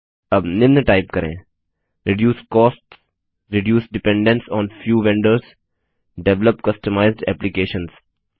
अब निम्न टाइप करें160 reduce costs reduce dependence on few vendors develop customized applications